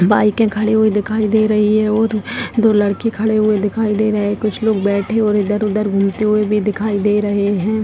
बाइके खड़ी हुई दिखाई दे रही है और दो लड़के खड़े हुए दिखाई दे रहे है कुछ लोग बैठे और इधर-उधर घूमते हुए भी दिखाई दे रहे है।